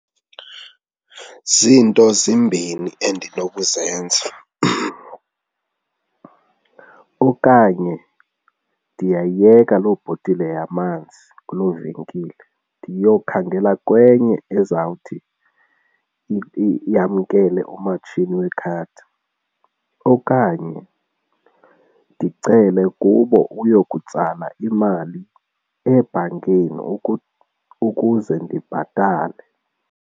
Ziinto zimbini endinokuzenza okanye ndingayiyeka loo bhotile yamanzi kuloo venkile ndiyokhangela kwenye ezawuthi yamkele umatshini wekhadi okanye ndicele kubo uyokutsala imali ebhankini ukuze ndibhatale.